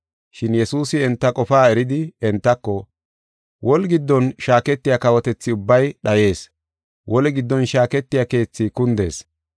Shin Yesuusi enta qofaa eridi entako, “Woli giddon shaaketiya kawotethi ubbay dhayees; woli giddon shaaketiya keethi kundees.